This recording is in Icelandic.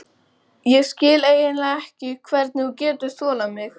Ég skil eiginlega ekki hvernig þú getur þolað mig.